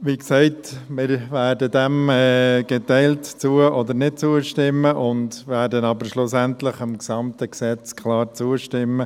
Wie gesagt, wir werden dem geteilt zu- oder nicht zustimmen und werden aber schlussendlich dem gesamten Gesetz klar zustimmen.